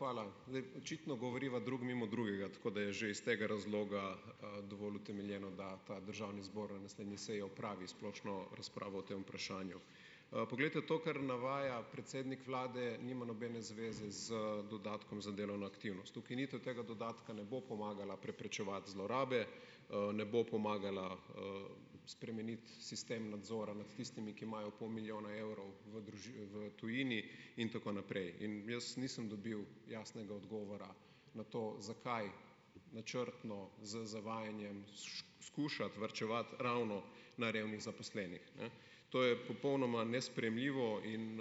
Hvala. Zdaj. Očitno govoriva drug mimo drugega, tako da je že iz tega razloga, dovolj utemeljeno, da ta državni zbor na naslednji seji opravi splošno razpravo o tem vprašanju. poglejte to, kar navaja predsednik vlade nima nobene zveze z dodatkom za delovno aktivnost. Ukinitev tega dodatka ne bo pomagala preprečevati zlorabe, ne bo pomagala, spremeniti sistem nadzora nad tistimi, ki imajo pol milijona evrov v v tujini in tako naprej. In jaz nisem dobil jasnega odgovora na to, zakaj načrtno z zavajanjem skušati varčevati ravno na revnih zaposlenih. Ne, to je popolnoma nesprejemljivo in,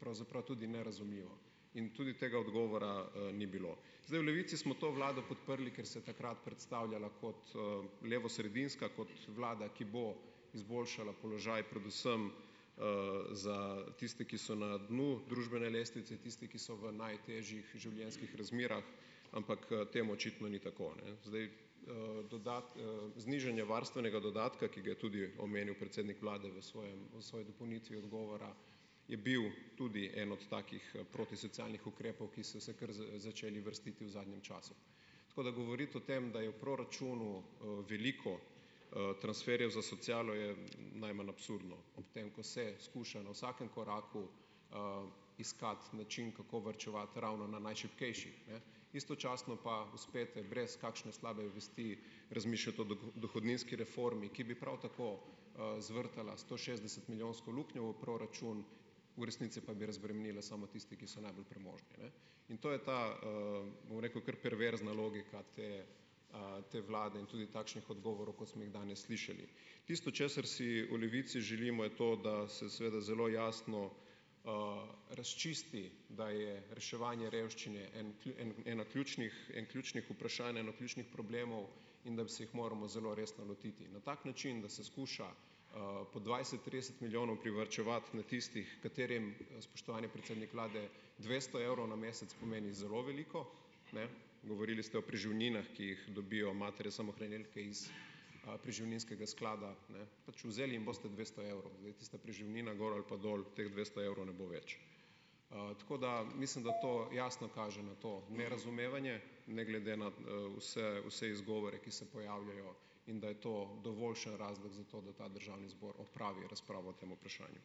pravzaprav tudi nerazumljivo. In tudi tega odgovora, ni bilo. Zdaj, v Levici smo to vlado podprli, ker se je takrat predstavljala kot, levosredinska, kot vlada, ki bo izboljšala položaj predvsem, za tiste, ki so na dnu družbene lestvice, tisti, ki so v najtežjih življenjskih razmerah, ampak, temu očitno ni tako, ne, zdaj Znižanje varstvenega dodatka, ki ga je tudi omenil predsednik vlade v svojem v svoji dopolnitvi odgovora je bil tudi en od takih protisocialnih ukrepov, ki so se kar začeli vrstiti v zadnjem času. Tako da govoriti o tem, da je v proračunu, veliko, transferjev za socialo je najmanj absurdno, ob tem, ko se skuša na vsakem koraku, iskati način, kako varčevati ravno na najšibkejših. Ne, istočasno pa uspete brez kakšne slabe vesti razmišljati o dohodninski reformi, ki bi prav tako, zvrtala stošestdesetmilijonsko luknjo v proračun, v resnici pa bi razbremenila samo tiste, ki so najbolj premožni, ne. In to je ta, bom rekel, kar perverzna logika te, te vlade in tudi takšnih odgovorov, kot smo jih danes slišali. Tisto, česar si v Levici želimo, je to, da se seveda zelo jasno, razčisti, da je reševanje revščine en en eno ključnih en ključnih vprašanj, en ključnih problemov, in da bi se jih moramo zelo resno lotiti na tak način, da se skuša, po dvajset, trideset milijonov privarčevati na tistih, katerim, spoštovani predsednik vlade, dvesto evrov na mesec pomeni zelo veliko, ne, govorili ste o preživninah, ki jih dobijo matere samohranilke iz, preživninskega sklada, ne, pač vzeli jim boste dvesto evrov. Zdaj, tista preživnina gor ali pa dol, teh dvesto evrov ne bo več. Tako da mislim, da to jasno kaže na to nerazumevanje ne glede na, vse vse izgovore, ki se pojavljajo in da je to dovoljšen razlog za to, da ta državni zbor opravi razpravo o tem vprašanju.